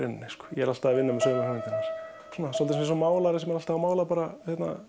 ég er alltaf að vinna með sömu hugmyndinar svolítið eins og málari sem er alltaf að mála bara